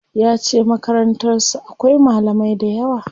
Yace Makarantar su akwai malamai dayawa.